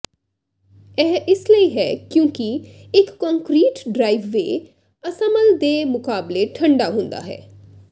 ਇਹ ਇਸ ਲਈ ਹੈ ਕਿਉਂਕਿ ਇੱਕ ਕੰਕਰੀਟ ਡ੍ਰਾਇਵਵੇਅ ਅਸਾਮਲ ਦੇ ਮੁਕਾਬਲੇ ਠੰਡਾ ਹੁੰਦਾ ਹੈ